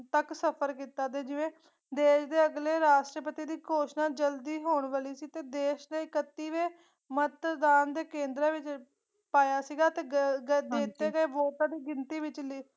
ਤਕ ਸਫਰ ਕੀਤਾ ਤੇ ਜਿਵੇ ਦੇਸ਼ ਦੇ ਅਗਲੇ ਰਾਸ਼ਟਰਪਤੀ ਦੀ ਘੌਸ਼ਨਾਂ ਜਲਦੀ ਹੋਣ ਵਾਲੀ ਸੀ ਤੇ ਦੇਸ਼ ਦੇ ਇੱਕਤੀਵੇ ਮਤਦਾਨ ਦੇ ਕੇੰਦਰਾ ਵਿਚ ਪਾਇਆ ਸੀਗਾ ਤੇ ਗ ਗ ਦਿਤੇ ਗਏ ਵੋਟਾਂ ਦੀ ਗਿਣਤੀ ਵਿ ਚਲੀ ਸੀ।